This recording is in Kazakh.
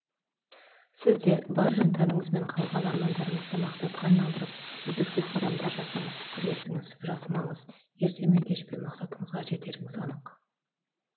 сіз де бар жан тәніңізбен қалаған армандарыңызды мақсатқа айналдырып үздіксіз қадамдар жасаңыз күресіңіз жасымаңыз ерте ме кеше пе мақсатыңызға жетеріңіз анық